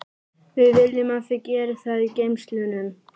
Við viljum að þau geri það í geymslunum.